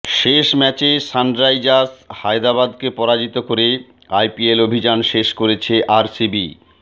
শেষ ম্যাচে সানরাইজার্স হায়দরাবাদকে পরাজিত করে আইপিএল অভিযান শেষ করেছে আরসিবি